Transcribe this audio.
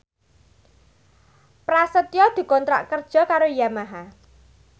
Prasetyo dikontrak kerja karo Yamaha